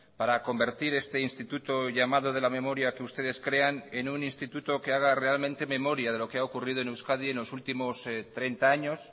para convertir este instituto llamado de la memoria que ustedes crean en un instituto que haga realmente memoria de lo que ha ocurrido en euskadi en los últimos treinta años